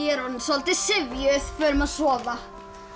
er orðin soldið syfjuð förum að sofa